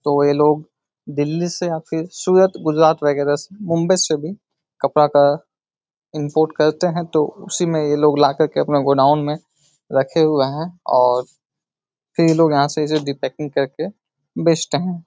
तो ये लोग दिल्ली से या फिर सूरत गुजरात वगैरह से मुंबई से भी कपड़ा का इम्पोर्ट करते हैं तो उसी में ये लोग ला कर के अपना गोडाउन में रखे हुए हैं और फिर ये लोग यहाँ से इसे डिपैकिंग रिपैकिंग कर के बेचते हैं।